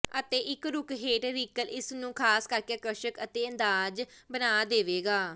ਅਤੇ ਇੱਕ ਰੁੱਖ ਹੇਠ ਰੀਕਲ ਇਸ ਨੂੰ ਖਾਸ ਕਰਕੇ ਆਕਰਸ਼ਕ ਅਤੇ ਅੰਦਾਜ਼ ਬਣਾ ਦੇਵੇਗਾ